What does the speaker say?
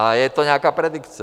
A je to nějaká predikce.